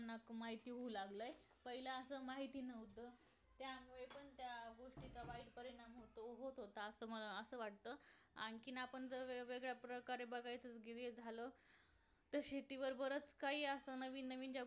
त्यांना पण माहिती होऊ लागली पहिला असं माहिती नव्हतं त्या वेळेचा त्या वाईट परिणाम होत होता असं वाटत आणखी आपण जर वेगवेगळ्या प्रकारे बागायचं झालं तसे दिवसभरात काही अस नवीन नवीन जेवणाचं